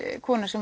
kona sem